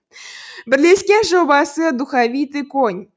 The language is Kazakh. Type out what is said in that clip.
бірлескен жобасы духовитый конь